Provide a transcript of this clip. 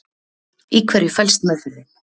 Í hverju felst meðferðin?